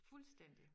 fuldstændig